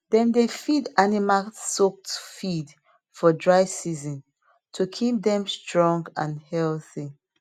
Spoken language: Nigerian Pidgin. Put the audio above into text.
dem dey feed animal soaked feed for dry season to keep dem strong and healthy